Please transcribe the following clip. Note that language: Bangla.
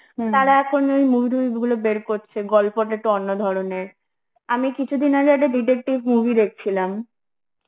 এখন ওই movie টুভি গুলো বের করছে, গল্পটা একটু অন্য ধরনের, আমি কিছুদিন আগে একটা detective movie দেখছিলাম